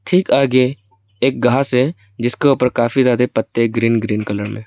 ठीक आगे एक घास है जिसके ऊपर काफी ज्यादे पत्ते ग्रीन ग्रीन कलर में है।